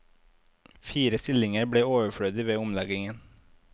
Fire stillinger blir overflødige ved omleggingen.